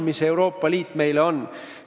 Mis see Euroopa Liit meile siis on?